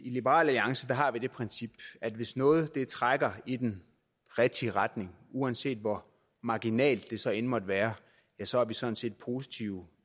i liberal alliance har det princip at hvis noget trækker i den rigtige retning uanset hvor marginalt det så end måtte være så er vi sådan set positivt